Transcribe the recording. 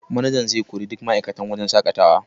Manajan zai kori duk ma'aikatan wajen shaƙatawar.